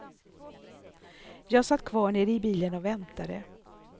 Jag satt kvar nere i bilen och väntade.